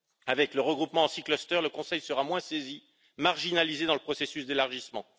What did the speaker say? Avec le regroupement en six clusters le Conseil sera moins saisi, et marginalisé dans le processus d'élargissement.